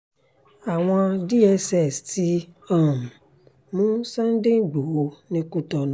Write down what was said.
àwọn dss ti um mú sunday ìgbóhò ní kútọnù